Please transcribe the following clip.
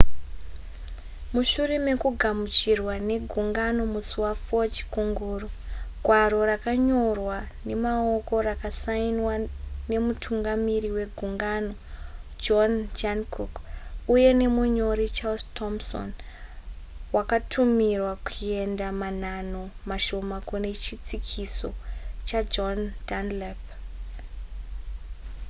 mushure mekugamuchirwa ne gungano musi wa4 chikunguru gwaro rakanyorwa nemaoko rakasainiwa nemutungamiri wegungano john jancock uye nemunyori charles thomson wakatumiwa kuenda manhanho mashoma kune chitsikiso chajohn dunlap